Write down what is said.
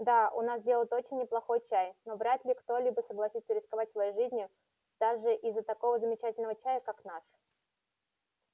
да у нас делают очень неплохой чай но вряд ли кто-либо согласится рисковать своей жизнью даже из-за такого замечательного чая как наш